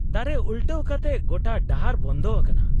-ᱫᱟᱨᱮ ᱩᱞᱴᱟᱹᱣ ᱠᱟᱛᱮ ᱜᱚᱴᱟ ᱰᱟᱦᱟᱨ ᱵᱚᱱᱫᱷ ᱟᱠᱟᱱᱟ ᱾